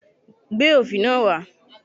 Gbé òfì náà wá!